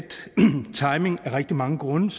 timing af rigtig mange grunde